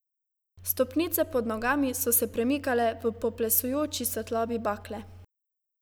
Stopnice pod nogami so se premikale v poplesujoči svetlobi bakle.